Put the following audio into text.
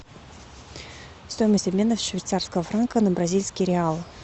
стоимость обмена швейцарского франка на бразильские реалы